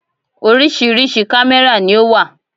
Orísìírísìí kámẹ́rà ni ó wà.